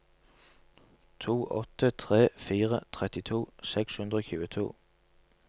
to åtte tre fire trettito seks hundre og tjueto